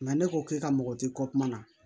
ne ko k'i ka mɔgɔ ti kɔ kuma na